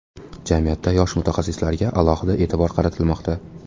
Jamiyatda yosh mutaxassislarga alohida e’tibor qaratilmoqda.